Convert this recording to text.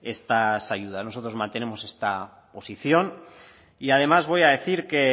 estas ayudas nosotros mantenemos esta posición y además voy a decir que